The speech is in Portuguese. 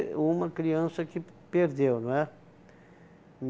uma criança que perdeu, não é?